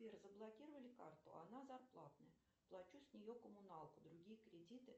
сбер заблокировали карту она зарплатная плачу с нее коммуналку другие кредиты